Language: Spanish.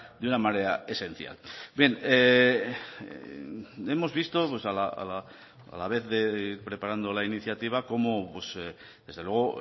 de una manera esencial bien hemos visto pues a la vez de preparando la iniciativa como pues desde luego